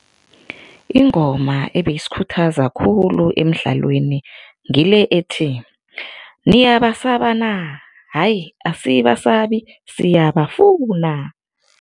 Ingoma ebeyisikhuthaza khulu emidlalweni ngile ethi, niyabasa na? Hayi asibasabi, siyabafuna.